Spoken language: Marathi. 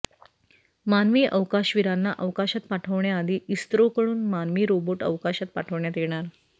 मानवी अवकाशवीरांना अवकाशात पाठवण्याआधी इस्रोकडून मानवी रोबोट अवकाशात पाठवण्यात येणार